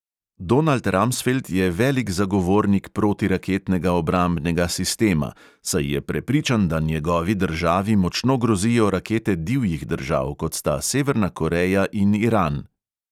Donald ramsfeld je velik zagovornik protiraketnega obrambnega sistema, saj je prepričan, da njegovi državi močno grozijo rakete divjih držav, kot sta severna koreja in iran.